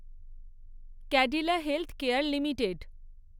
Cadila healthcare limited